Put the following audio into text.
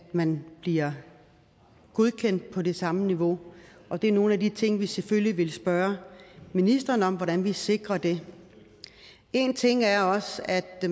man bliver godkendt på det samme niveau og det er nogle af de ting vi selvfølgelig vil spørge ministeren om hvordan vi sikrer det en ting er også at